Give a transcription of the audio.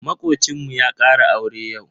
Makocinmu ya ƙara aure yau.